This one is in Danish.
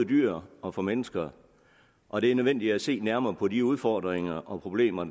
dyr og for mennesker og det er nødvendigt at se nærmere på de udfordringer og problemer